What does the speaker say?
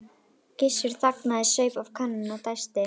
Gissur þagnaði, saup af könnunni og dæsti.